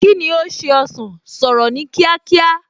Kíni ó ṣe ọsàn, sọ̀rọ̀ ní kíákíá!